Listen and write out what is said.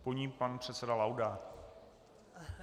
Po ní pan předseda Laudát.